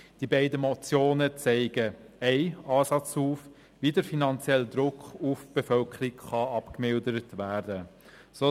Die beiden Motionen zeigen einen Ansatz, wie der finanzielle Druck auf die Bevölkerung abgemildert werden kann.